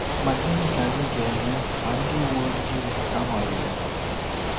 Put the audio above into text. Ma gịnị ka anyị ga-eme ma ndị uwe ojii anọghị ya?